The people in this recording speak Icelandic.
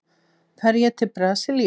Fer ég til Brasilíu?